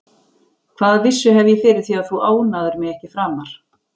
Hvaða vissu hef ég fyrir því að þú ónáðir mig ekki framar?